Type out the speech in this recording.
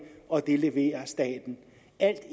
er